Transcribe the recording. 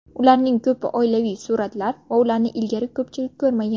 Ularning ko‘pi oilaviy suratlar va ularni ilgari ko‘pchilik ko‘rmagan.